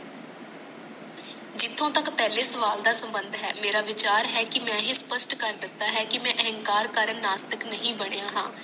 ਜੀਤੋ ਤੱਕ ਪਹਿਲੇ ਸਵਾਲ ਦਾ ਸਬੰਧ ਹੈ ਮਾਰਾ ਵਿਚਾਰ ਹੈ ਕਿ ਮੈ ਇਹ ਸਪਸ਼ਟ ਕਰ ਦਿੱਤਾ ਹੈ ਕਿ ਮੈ ਅਹੰਕਾਰ ਕੱਢ ਨਾਸਤਕ ਨਹੀਂ ਬਾਣੀਆਂ ਹੈ